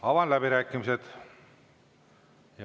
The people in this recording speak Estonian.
Avan läbirääkimised.